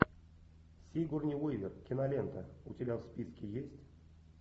сигурни уивер кинолента у тебя в списке есть